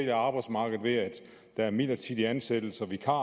af arbejdsmarkedet ved at der er midlertidige ansættelser vikarer